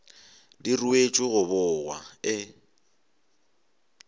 di ruetšwe go bogwa e